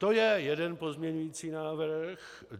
To je jeden pozměňující návrh.